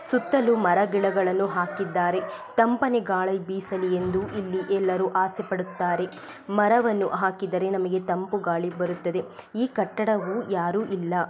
ಸುತ್ತಲೂ ಮರ ಗಿಡ ಗಳನ್ನೂ ಹಾಕಿದ್ದಾರೆ ತಂಪನೆ ಗಾಳಿ ಬೀಸಲಿ ಎಂದು ಇಲ್ಲಿ ಎಲ್ಲರು ಅಸೆ ಪಡುತ್ತಾರೆ ಮರವನ್ನು ಹಾಕಿದರೆ ನಮಗೆ ತಂಪುಗಾಳಿ ಬರುತ್ತದೇ ಈ ಕಟ್ಟಡವು ಯಾರು ಇಲ್ಲ.